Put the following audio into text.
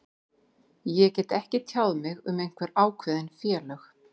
Ég get ekki tjáð mig um einhver ákveðin félög.